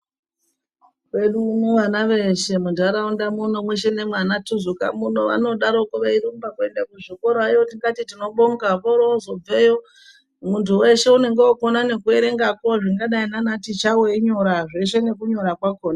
Kwedu uno vana veshe muntaraunda mwuno mweshe nemwaanaTuzuka muno vanodaroko veirumba kuenda kuzvikorayo tikati tinobonga. Voorozobveyo muntu weshe unenge wookona nekuerengako zvingadai naanaticha weinyora, zveshe nekunyora kwakona.